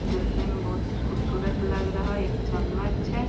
देखने में बहुत खूबसूरत लग रहा है एक चम्मच है।